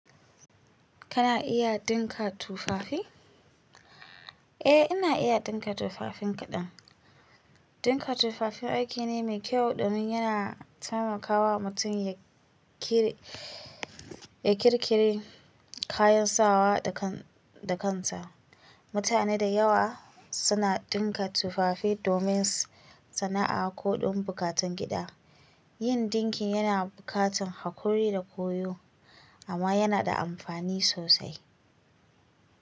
Kana iya ɗinka tufafi? Eh, ina iya ɗinka tufafin kaɗan. Ɗinka tufafi aiki ne mai kyau domin yana taimakawa mutum ya ƙiri, ya ƙirƙiri kayan sawa da kan, da kansa. Mutane da yawa suna ɗinka tufafi domin sana'a ko don buƙatun gida. Yin dinki yana buƙatar haƙuri da koyo, amma yana da amfani sosai.